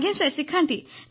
ଆଜ୍ଞା ସାର୍ ଶିଖାନ୍ତି